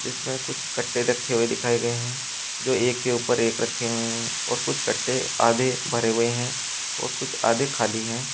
इसमें कुछ कट्टे रखे हुए दिखाए गए हैं जो एक के ऊपर एक रखे हुए हैं और कुछ कट्टे आधे भरे हुए हैं और कुछ आधे खाली हैं।